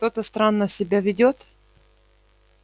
кто-то странно себя ведёт